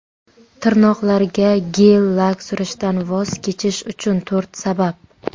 Tirnoqlarga gel-lak surishdan voz kechish uchun to‘rt sabab.